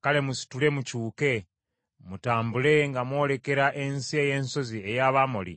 kale musitule mukyuke, mutambule nga mwolekera ensi ey’ensozi ey’Abamoli,